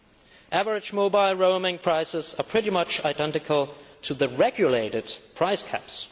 The average mobile roaming prices are pretty much identical to the regulated price caps.